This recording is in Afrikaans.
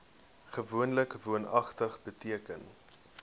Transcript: gewoonlik woonagtig beteken